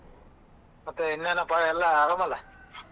ಮತ್ತೆ ಇನ್ನೆನ ಅಪ್ಪ ಎಲ್ಲ ಅರಮಲ್ಲ?